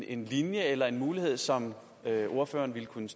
en linje eller en mulighed som ordføreren ville kunne